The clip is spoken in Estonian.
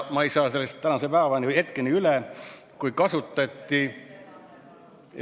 Ma ei saa sellest praeguse hetkeni üle, kui kasutati ...